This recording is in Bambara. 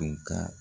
Tun ka